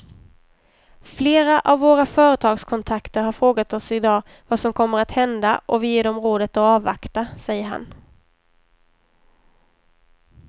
Flera av våra företagskontakter har frågat oss i dag vad som kommer att hända och vi ger dem rådet att avvakta, säger han.